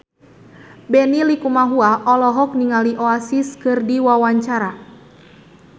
Benny Likumahua olohok ningali Oasis keur diwawancara